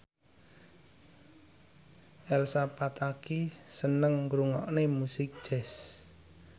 Elsa Pataky seneng ngrungokne musik jazz